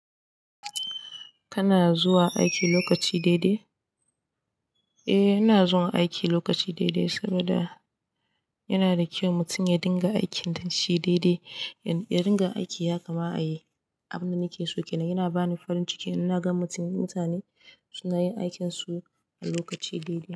Kana zuwa aiki lokaci daidai? Eh ina zuwa aiki lokaci daidai saboda yana da kyau mutum ya dinga aikin danshi daidai. In ya ringa aiki ya kama a yi. Abin da nake so ke nan yana bani farin ciki, ina gan mutum mutane suna yin aikinsu a lokaci daidai.